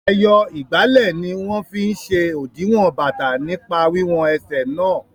Ẹyọ ìgbálẹ̀ ni wọ́n fí n ṣe òdiwọ̀n bàtà nípa wiwọn ẹsẹ̀ náà